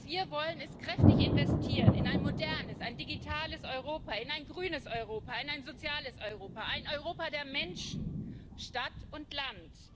Was wir wollen, ist kräftig investieren in ein modernes, ein digitales Europa, in ein grünes Europa, in ein soziales Europa, ein Europa der Menschen, Stadt und Land.